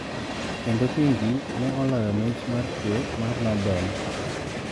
Kendo King ne oloyo mich mar Kwe mar Nobel